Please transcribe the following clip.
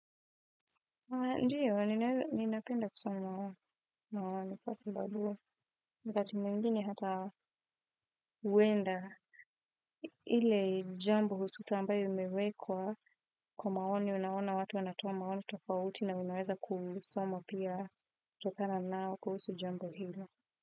Ndiyo, ninapenda kusoma na mawani. Kwa sababu, wakati mwingini hata huwenda. Ile jambo hususa ambayo imewekwa. Kwa maoni unaona watu wanatoa maoni tofauti na unaweza kusomo pia. Tokana nao kuhusu jambo hilo.